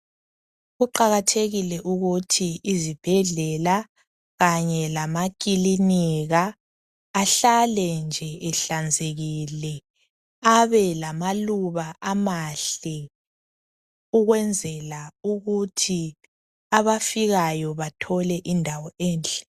Kuqakathekile ukuthi izibhedlela kanye lamakilinika ahlale nje ehlanzekile, abe lamaluba amahle ukwenzela ukuthi abafikayo bathole indawo enhle.